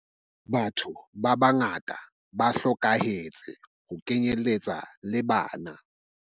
Batho ba bangata ba hlokahetse ho kenyeletsa le bana.